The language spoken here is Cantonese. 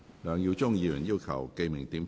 梁耀忠議員要求點名表決。